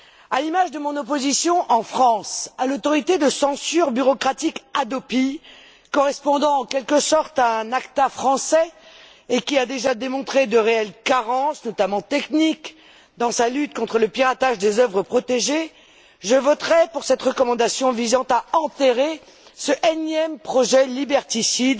À l'image de mon opposition en France à l'autorité de censure bureaucratique Hadopi, correspondant en quelque sorte à un ACTA français et qui a déjà montré de réelles carences notamment techniques dans sa lutte contre le piratage des œuvres protégées, je voterai pour cette recommandation visant à enterrer cet énième projet liberticide,